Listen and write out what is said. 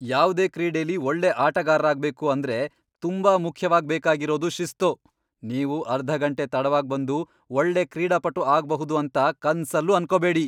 ಯಾವ್ದೇ ಕ್ರೀಡೆಲಿ ಒಳ್ಳೆ ಆಟಗಾರ್ರಾಗ್ಬೇಕು ಅಂದ್ರೆ ತುಂಬಾ ಮುಖ್ಯವಾಗ್ ಬೇಕಾಗಿರೋದು ಶಿಸ್ತು. ನೀವು ಅರ್ಧ ಗಂಟೆ ತಡವಾಗ್ ಬಂದು ಒಳ್ಳೆ ಕ್ರೀಡಾಪಟು ಆಗ್ಬಹುದು ಅಂತ ಕನ್ಸಲ್ಲೂ ಅನ್ಕೋಬೇಡಿ.